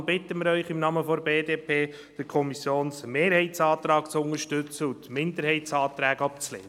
Wir bitten Sie deshalb im Namen der BDP, den Kommissionsmehrheitsantrag zu unterstützen und die Minderheitsanträge abzulehnen.